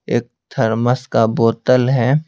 एक थर्मस का बोतल है।